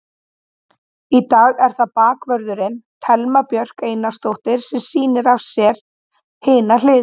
Í dag er það bakvörðurinn, Thelma Björk Einarsdóttir sem sýnir á sér hina hliðina.